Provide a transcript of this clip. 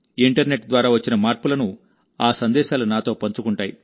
internet ద్వారా వచ్చిన మార్పులను ఆ సందేశాలు నాతో పంచుకుంటాయి